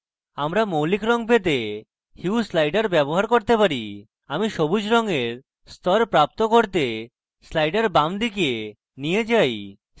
আমরা মৌলিক রঙ পেতে hue slider ব্যবহার করতে পারি আমি সবুজ রঙের স্তর প্রাপ্ত করতে slider base দিকে নিয়ে যাই